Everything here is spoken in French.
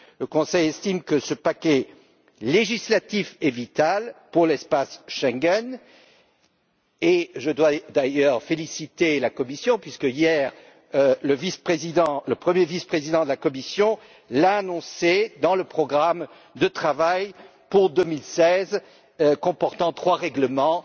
Le Conseil estime que ce paquet législatif est vital pour l'espace Schengen, et je dois d'ailleurs féliciter la Commission puisque, hier, le premier vice président de la Commission l'a annoncé dans le programme de travail pour 2016, lequel comporte trois règlements